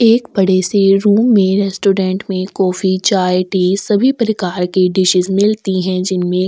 एक बड़े से रूम में रेस्टोरंट में कॉफ़ी चाय टी सभी प्रकार की डिशेस मिलती है जिनमें --